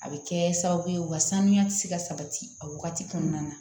A bɛ kɛ sababu ye u ka saniya ti se ka sabati a wagati kɔnɔna na